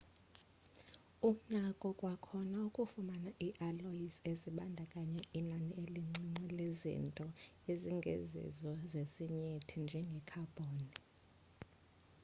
unako kwakhona ukufumana ii-alloys ezibandakanya inani elincinci lezinto ezingezizo zesinyithi njengekhabhoni